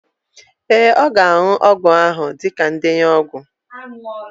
Ee, ọ ga-aṅụ ọgwụ ahụ dịka ndenye ọgwụ.